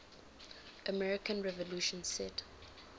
american revolution set